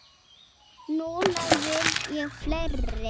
Núna vil ég fleiri.